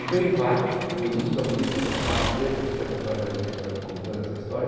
Então ele vai com o ministro da polícia com uma capa preta, o Stefan Zweig vai ler vai contando essa história.